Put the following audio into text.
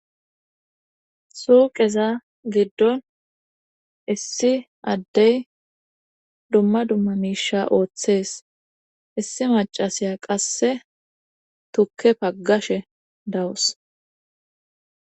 Suuqeza giddon issi addey dumma dumma miisha ooththees issi macasiya qasse tukke paggashe dawus.